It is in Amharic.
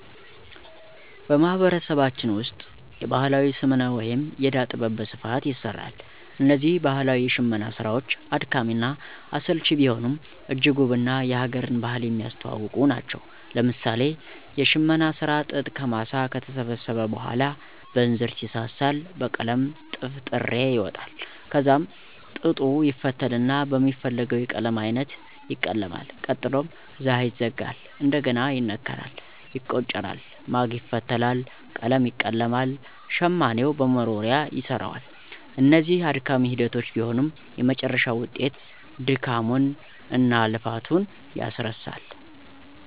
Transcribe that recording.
በማህበረሰባችን ውስጥ የባህላዊ ስምነ ወይም የእዳ ጥበብ በስፋት ይሰራሉ። እነዚህ ባህላዊ የሽመና ስራዎች አድካሚ እና አሰልቺ ቢሆኑም እጅግ ውብ እና የ ሀገርን ባህል የሚያስተዋውቁ ናቸው። ለምሳሌ የሽመና ስራ ጥጥ ከማሳ ከተሰበሰበ በኋላ በእንዝርት ይሳሳል በመቀጠልም ጥፍጥሬ ይወጣል ከዛም ጥጡ ይፈተልና በሚፈለገው የቀለም አይነት ይቀለማል ቀጥሎም ዛሀ ይዘጋል፣ እንደግና ይነከራል፣ ይቆጨራል፣ ማግ ይፈተላል፣ ቀለም ይቀለማል፣ ሸማኔው በመወርወርያ ይሰራዋል። እነዚህ አድካሚ ሂደቶች ቢሆኑም የመጨረሻው ውጤት ድካሙን እናልፋቱን ያስረሳል።